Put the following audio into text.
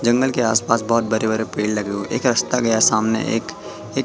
जंगल के आस पास बहोत बड़े बड़े पेड़ लगे हुए एक रास्ता गया सामने एक ये--